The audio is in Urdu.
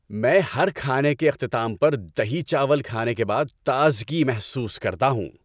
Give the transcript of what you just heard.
میں ہر کھانے کے اختتام پر دہی چاول کھانے کے بعد تازگی محسوس کرتا ہوں۔